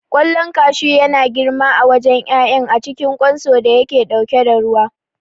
Ƙwallon kashu yana girma a wajen ƴaƴan a cikin ƙwanso da yake ɗauke da ruwa.